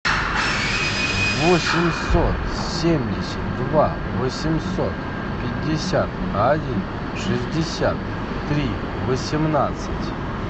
восемьсот семьдесят два восемьсот пятьдесят один шестьдесят три восемнадцать